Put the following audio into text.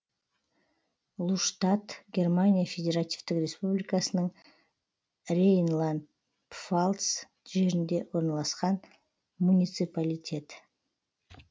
луштадт германия федеративтік республикасының рейнланд пфальц жерінде орналасқан муниципалитет